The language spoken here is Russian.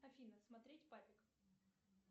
афина смотреть папик